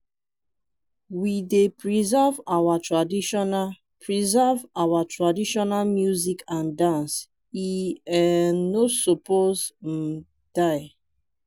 we dey preserve our traditional preserve our traditional music and dance e um no suppose um die.